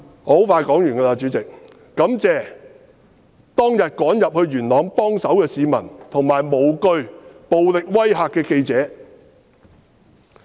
我感謝當天趕入元朗幫手的市民，以及無懼暴力威嚇的記者。